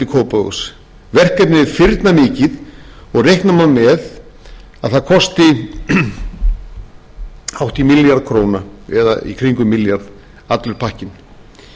og reikna má með að það kosti hátt í milljarð króna eða í kringum milljarð allur pakkinn